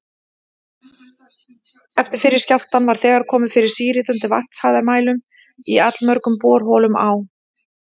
Eftir fyrri skjálftann var þegar komið fyrir síritandi vatnshæðarmælum í allmörgum borholum á